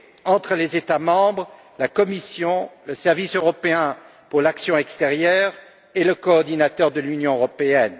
entre les États membres, la Commission, le Service européen pour l'action extérieure et le coordinateur de l'Union européenne.